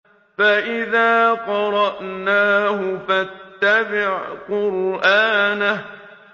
فَإِذَا قَرَأْنَاهُ فَاتَّبِعْ قُرْآنَهُ